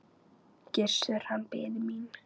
Gissur, hann biði mín.